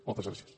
moltes gràcies